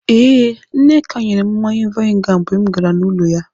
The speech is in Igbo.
Ee, Nneka nyere m mmanya vainga mgbe m gara n'ụlọ ya.